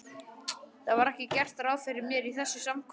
Það var ekki gert ráð fyrir mér í þessu samkvæmi.